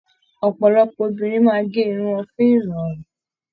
Ọpọlọpọ obìnrin máa ge irun wọn fún irọrun.